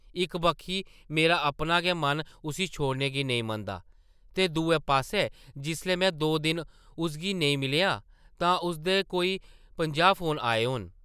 इक वक्खी मेरा अपना गै मन उस्सी छोड़ने गी नेईं मनदा ते दूए पास्सै जिसलै में दो दिन उसगी नेईं मिलेआ तां उसदे कोई पंजाह् फोन आए होने ।